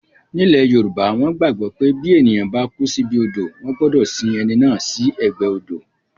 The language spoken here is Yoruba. Ní ilẹ̀ yoòbá, wọ́n gbàgbọ́ pé bí èèyàn bá kú síbi odò wọ́n gbọdọ̀ sin ẹni náà sí ẹ̀gbẹ́ odò